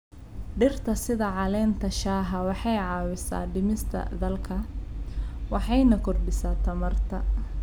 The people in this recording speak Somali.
Dhirta sida caleenta shaaha waxay caawisaa dhimista daalka waxayna kordhisaa tamarta.